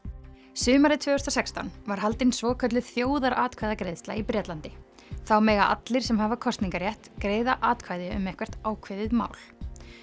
sumarið tvö þúsund og sextán var haldin svokölluð þjóðaratkvæðagreiðsla í Bretlandi þá mega allir sem hafa kosningarétt greiða atkvæði um eitthvert ákveðið mál